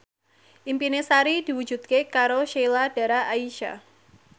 impine Sari diwujudke karo Sheila Dara Aisha